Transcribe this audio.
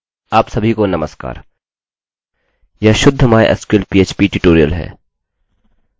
यह शुद्ध mysql php tutorial है